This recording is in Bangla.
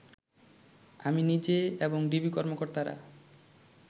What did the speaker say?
আমি নিজে এবং ডিবি কর্মকর্তারা